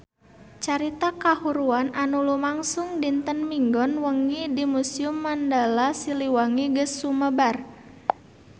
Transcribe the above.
Carita kahuruan anu lumangsung dinten Minggon wengi di Museum Mandala Siliwangi geus sumebar kamana-mana